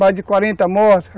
Mais de quarenta mortes